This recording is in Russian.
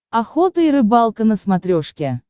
охота и рыбалка на смотрешке